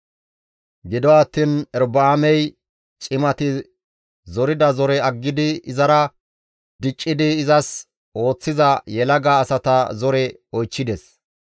Gido attiin Erobi7aamey cimati zorida zoreza aggidi izara diccidi izas ooththiza yelaga asata zore oychchides.